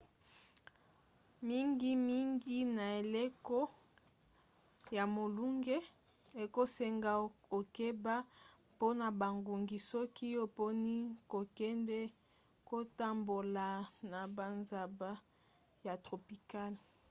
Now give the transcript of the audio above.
mingimingi na eleko ya molunge ekosenga okeba mpona bangungi soki oponi kokende kotambola na bazamba ya tropicale